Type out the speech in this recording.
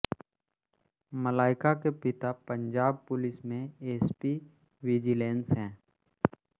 मलाइका के पिता पंजाब पुलिस में एसपी विजिलेंस हैं